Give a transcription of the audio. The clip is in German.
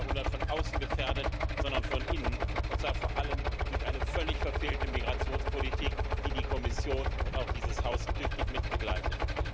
20. Jahrhundert von außen gefährdet, sondern von innen, und zwar vor allem durch eine völlig verfehlte Migrationspolitik, die die Kommission und auch dieses Haus tüchtig mit begleiten.